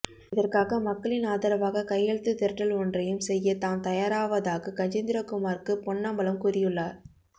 இதற்காக மக்களின் ஆதரவாக கையெழுத்து திரட்டல் ஒன்றையும் செய்ய தாம் தயாராவதாக கஜேந்திரகுமார்கூ பொன்னம்பலம் கூறியுள்ளார்